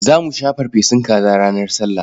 Za mu sha farfesun kaza ranar Sallah.